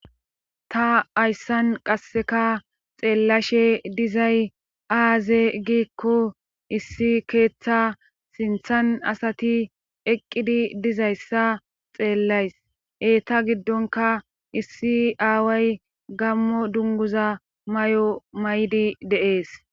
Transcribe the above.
Ta hayssan qasseka xeellashe dizay aaze giikko issi keeththa sinthan asati eqqidi dizayssa xeellays. eeta giddonka issi aaway gammo dunguza mayo mayidi deees.